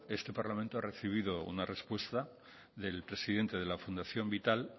este parlamento ha recibido una respuesta del presidente de la fundación vital